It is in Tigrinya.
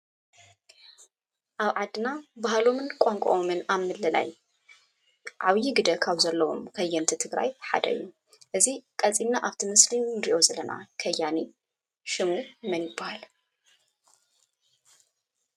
ኣብ ዓድና ባህሎምን ቋንቋኦምን ኣብ ምልላይ ዓበይ ግደ ካብ ዘለዎም ከየንቲ ትግራይ ሓደ እዩ። እዚ ቀፂልና ኣብቲ ምስሊ እንርእዮ ዘለና ከያኒ ሽሙ መን ይባሃል?